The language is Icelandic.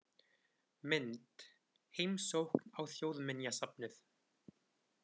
Mynd: Heimsókn á Þjóðminjasafnið.